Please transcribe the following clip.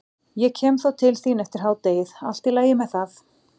Ég kem þá til þín eftir hádegið, allt í lagi með það?